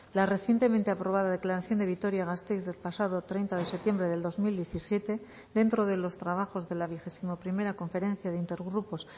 la recientemente aprobada declaración de vitoria gasteiz del pasado treinta de septiembre del dos mil diecisiete dentro de los trabajos de la vigésimo primera conferencia de intergrupos